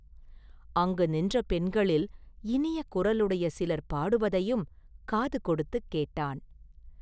அங்கு நின்ற பெண்களில் இனிய குரலையுடைய சிலர் பாடுவதையும் காது கொடுத்துக் கேட்டான்.